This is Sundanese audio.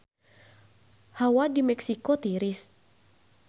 Hawa di Meksiko tiris